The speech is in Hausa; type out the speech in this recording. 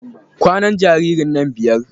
Kwanan jaririn nan biyar.